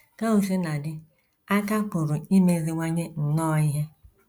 Ka o sina dị, a ka pụrụ imeziwanye nnọọ ihe. ”